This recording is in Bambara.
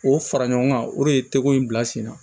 O fara ɲɔgɔn kan o de ye teko in bila sen na